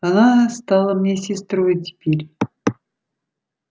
она стала мне сестрой теперь